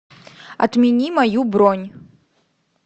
отмени мою бронь